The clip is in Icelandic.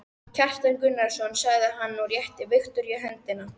Kjartan Gunnarsson, sagði hann og rétti Viktoríu höndina.